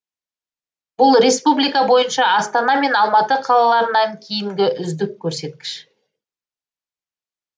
бұл республика бойынша астана мен алматы қалаларынан кейінгі үздік көрсеткіш